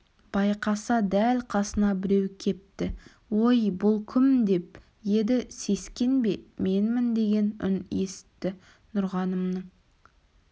байқаса дәл қасына біреу кепті ой бұл кім деп еді сескенбе менмін деген үн есітті нұрғанымның